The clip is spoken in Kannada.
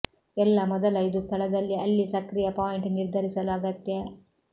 ಎಲ್ಲಾ ಮೊದಲ ಇದು ಸ್ಥಳದಲ್ಲಿ ಅಲ್ಲಿ ಸಕ್ರಿಯ ಪಾಯಿಂಟ್ ನಿರ್ಧರಿಸಲು ಅಗತ್ಯ